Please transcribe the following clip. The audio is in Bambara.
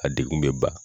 A degun bɛ ban